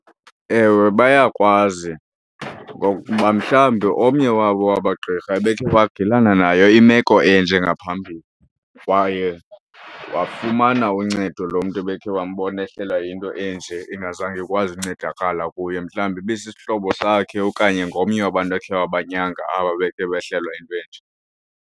Ewe, bayakwazi ngokuba mhlawumbi omnye wabo waba gqirha ebeke wagilana nayo imeko enje ngaphambili kwaye wafumana uncedo loo mntu ebekhe wambona ehlelwa yinto enje, ingazange ikwazi ukuncedakala kuye. Mhlawumbi ibisisihlobo sakhe okanye ngomnye wabantu akhe wabanyanga aba bekhe behlelwa yinto enje.